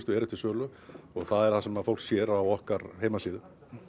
eru til sölu og það er það sem fólk sér á okkar heimasíðu